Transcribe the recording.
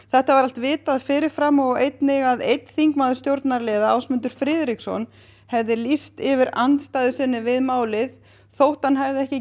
þetta var vitað fyrir fram og einnig að einn þingmaður stjórnarliða Ásmundur Friðriksson hefði lýst yfir andstöðu við málið þótt hann hafi ekki